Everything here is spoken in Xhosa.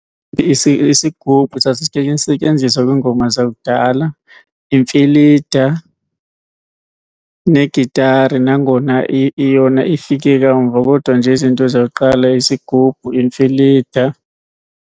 Isigubhu setyenziswa kwiingoma zakudala. Imfilida negitara, nangona yona ifike kamva. Kodwa nje izinto zakuqala yisigubhu, imfilida.